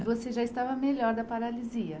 E você já estava melhor da paralisia?